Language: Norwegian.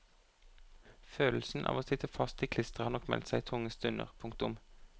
Følelsen av å sitte fast i klisteret har nok meldt seg i tunge stunder. punktum